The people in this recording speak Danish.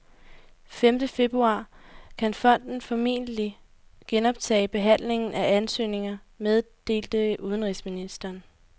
Femte februar kan fonden formentlig genoptage behandlingen af ansøgninger, meddelte udenrigsministeren.